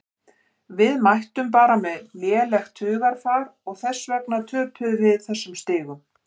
Við mættum bara með lélegt hugarfar og þess vegna töpuðum við þessum stigum.